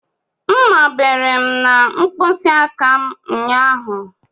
Mmá bere m n'mkpisi aka m ụnyaahụ.